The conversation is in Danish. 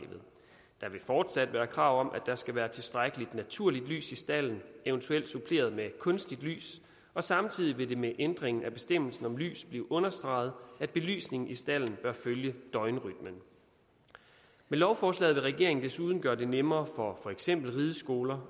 der vil fortsat være krav om at der skal være tilstrækkeligt naturligt lys i stalden eventuelt suppleret med kunstigt lys og samtidig vil det med ændringen af bestemmelsen om lys blive understreget at belysningen i stalden bør følge døgnrytmen med lovforslaget vil regeringen desuden gøre det nemmere for for eksempel rideskoler